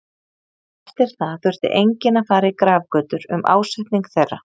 Eftir það þurfti enginn að fara í grafgötur um ásetning þeirra.